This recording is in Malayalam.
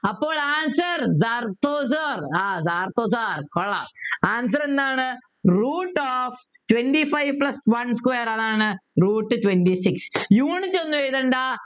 അപ്പോൾ answer ആഹ് കൊള്ളാം answer എന്താണ് Root of twenty five plus one square അതാണ് Root twenty six unit ഒന്നും എഴുതേണ്ട